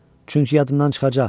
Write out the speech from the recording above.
Çünki yadından çıxacaq.